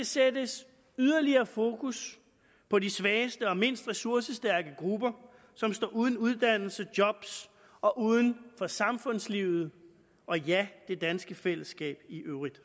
sættes yderligere fokus på de svageste og mindst ressourcestærke grupper som står uden uddannelse job og uden for samfundslivet og ja det danske fællesskab i øvrigt